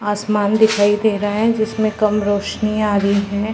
आसमान दिखाई दे रहा है जिसमें कम रोशनी आ रही है।